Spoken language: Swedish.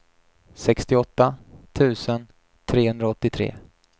sextioåtta tusen trehundraåttiotre